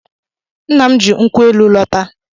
Nna m ji nkwụ elu lọta.